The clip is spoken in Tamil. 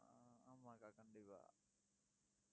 ஆஹ் ஆமா அக்கா, கண்டிப்பா